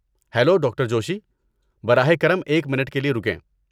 Hello, doctor Joshi. براہ کرم ایک منٹ کے لیے رکیں۔